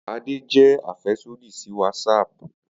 Ade jẹ afẹsodi si Whatsapp.